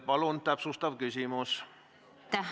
Palun, täpsustav küsimus!